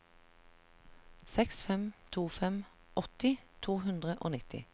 seks fem to fem åtti to hundre og nitti